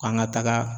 K'an ka taga